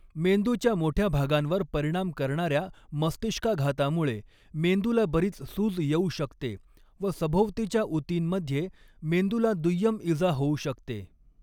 मेंदूच्या मोठ्या भागांवर परिणाम करणाऱ्या मस्तिष्काघातामुळे मेंदूला बरीच सूज येऊ शकते व सभोवतीच्या उतींमध्ये मेंदूला दुय्यम इजा होऊ शकते.